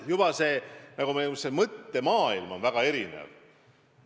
Juba see mõttemaailm on meil väga erinev.